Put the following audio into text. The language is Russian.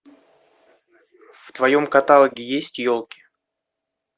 в твоем каталоге есть елки